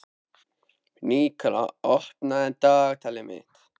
Nikólína, opnaðu dagatalið mitt.